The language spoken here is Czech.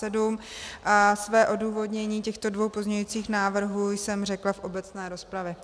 Své odůvodnění těchto dvou pozměňujících návrhů jsem řekla v obecné rozpravě.